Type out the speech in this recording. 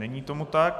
Není tomu tak.